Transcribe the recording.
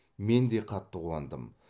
мен де қатты қуандым